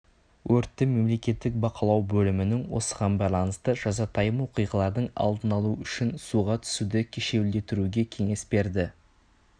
өртті мемлекеттік бақылау бөлімінің осыған байланысты жазатайым оқиғалардың алдын алу үшін суға түсуді кешеуілдетіруге кеңес береді